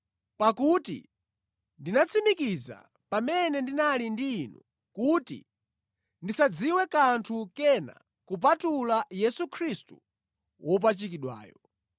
Pakuti ndinatsimikiza pamene ndinali ndi inu kuti ndisadziwe kanthu kena kupatula Yesu Khristu wopachikidwayo.